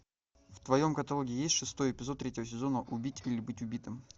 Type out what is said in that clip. в твоем каталоге есть шестой эпизод третьего сезона убить или быть убитым